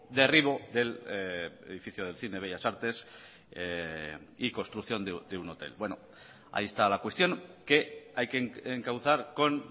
derribo del edificio del cine de bellas artes y construcción de un hotel bueno ahí está la cuestión que hay que encauzar con